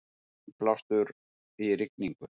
Innblástur í rigningu